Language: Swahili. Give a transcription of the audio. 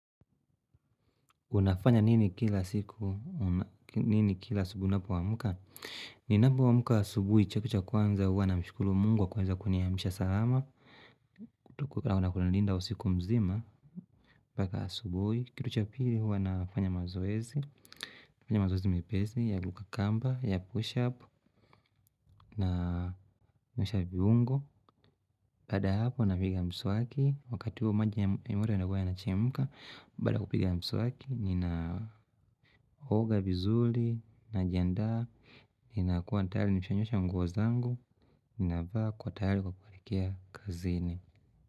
Unafanya nini kila siku, nini kila asubuhi unapoamka? Ninapomka asubuhi kitu cha kwanza huwa namshukuru mungu kwa kuweza kuniamsha salama. Tuku kuna kunalinda usiku mzima, mpaka asubuhi. Kitu cha pili huwa nafanya mazoezi. Nafanya mazoezi mepesi, ya kuruka kamba, ya push up, na naamsha viungo. Baada ya hapo napiga mswaki. Wakati huo maji ya mwili yanakuwa yanachemka. Baada ya kupiga mswaki, ninaoga vizuri, najiandaa, ninakuwa tayari nishanyosha nguo zangu, ninavaa kwa tayari kwa kuelekea kazini.